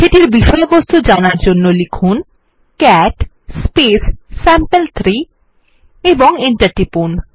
সেটির বিষয়বস্তু জানার জন্য লিখুন ক্যাট স্যাম্পল3 এবং এন্টার টিপুন